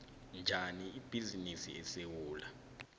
njani ibhizinisi esewula